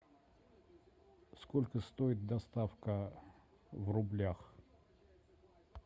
сколько стоит доставка в рублях